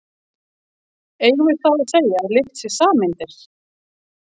Eigum við þá að segja að lykt sé sameindir?